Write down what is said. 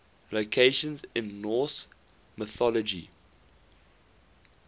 locations in norse mythology